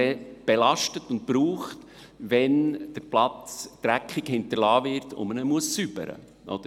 Diesen belastet und braucht man dann, wenn der Platz schmutzig hinterlassen wird und man ihn säubern muss.